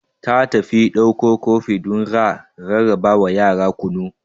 Ta tafi dakko kofi don ra rarrabawa yara kunu.